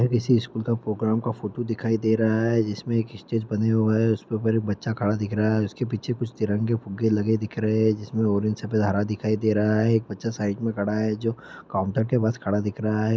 यह किसी स्कूल के प्रोग्राम का फोटो दिखाई दे रहा है जिसमे एक स्टेज बना हुआ है जिस पे बच्चा खड़ा दिख रहा है । जिसके पीछे कुछ तिरंगा फुग्गा लगा दिख हुआ है । जिसमे ऑरेंज सफ़ेद हरा दिखाई दे रहा है । एक बच्चा साइड में खड़ा है जो काउंटर के पास खड़ा दिख रहा है ।